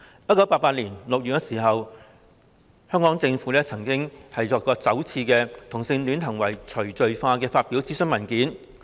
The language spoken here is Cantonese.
1988年6月，香港政府首次發表有關"同性戀行為除罪化"的諮詢文件。